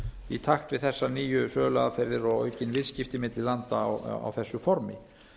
í takt við þessar nýjar söluaðferðir og aukin viðskipti milli landa á þessu formi